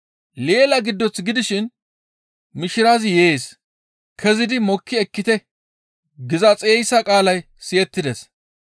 «Leela giddoth gidishin, ‹Mishirazi yees! Kezidi mokki ekkite!› giza xeyssa qaalay siyettides.